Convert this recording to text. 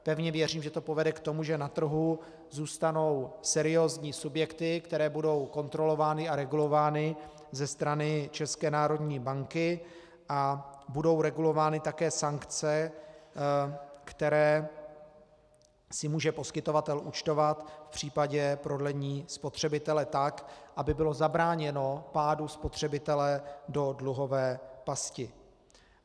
Pevně věřím, že to povede k tomu, že na trhu zůstanou seriózní subjekty, které budou kontrolovány a regulovány ze strany České národní banky, a budou regulovány také sankce, které si může poskytovatel účtovat v případě prodlení spotřebitele tak, aby bylo zabráněno pádu spotřebitele do dluhové pasti.